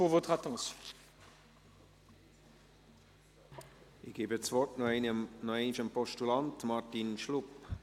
Ich erteile das Wort noch einmal dem Postulanten, Martin Schlup.